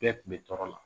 Bɛɛ kun bɛ tɔɔrɔ la